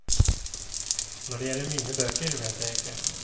Når det gjelder mine bøker, vet jeg ikke.